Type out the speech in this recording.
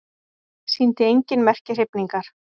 Sýndi engin merki hrifningar.